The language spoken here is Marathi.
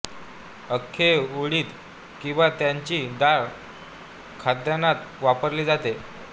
अख्खे उडीद किंबा त्याची डाळ खाद्यान्नात वापरली जाते